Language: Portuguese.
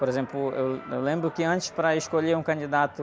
Por exemplo, eu, eu lembro que antes para escolher um candidato